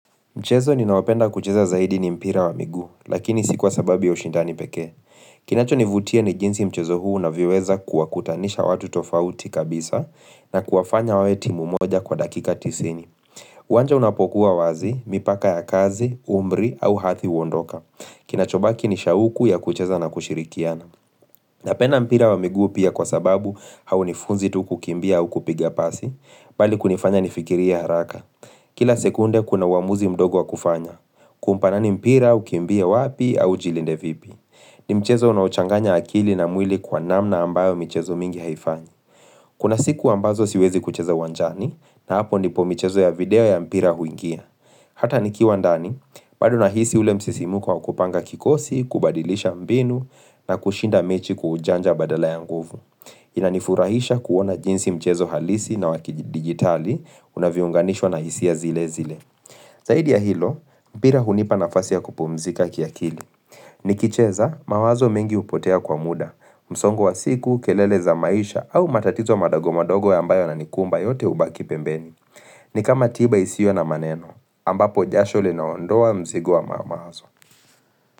Mchezo ninaopenda kucheza zaidi ni mpira wa miguu, lakini si kwa sababu ya ushindani pekee. Kinacho nivutia ni jinsi mchezo huu unavyoweza kuwa kutanisha watu tofauti kabisa na kuwafanya wawe timu moja kwa dakika tisini. Uwanja unapokuwa wazi, mipaka ya kazi, umri au hathi uondoka. Kinachobaki ni shauku ya kucheza na kushirikiana. Napenda mpira wa miguu pia kwa sababu haunifunzi tu kukimbia au kupiga pasi, bali kunifanya nifikiria haraka. Kila sekunde kuna uamuzi mdogo wa kufanya. Kumpa nani mpira, ukiimbie wapi, au ujilinde vipi. Ni mchezo unaochanganya akili na mwili kwa namna ambayo michezo mingi haifanyi. Kuna siku ambazo siwezi kucheza uwanjani, na hapo nipo michezo ya video ya mpira huingia. Hata nikiwa ndani, bado nahisi ule msisimko wa kupanga kikosi, kubadilisha mbinu, na kushinda mechi kwa ujanja badala ya nguvu. Inanifurahisha kuona jinsi mchezo halisi na wakidigitali unavyounganishwa na hisia zile zile. Zaidi ya hilo, mpira hunipa nafasi ya kupumzika kiakili. Nikicheza, mawazo mengi upotea kwa muda, msongo wa siku, kelele za maisha au matatizo madogo madogo ambayo yananikumba yote ubaki pembeni. Ni kama tiba isiwe na maneno, ambapo jasho linaondoa mzigo wa mawazo.